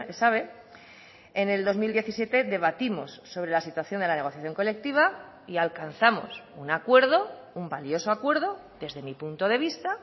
sabe en el dos mil diecisiete debatimos sobre la situación de la negociación colectiva y alcanzamos un acuerdo un valioso acuerdo desde mi punto de vista